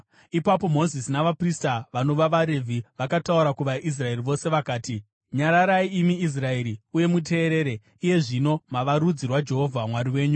Ipapo Mozisi navaprista vanova vaRevhi, vakataura kuvaIsraeri vose vakati, “Nyararai imi Israeri, uye muteerere! Iye zvino mava rudzi rwaJehovha Mwari wenyu.